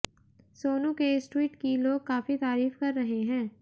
सोनू के इस ट्वीट की लोग काफी तारीफ कर रहे हैं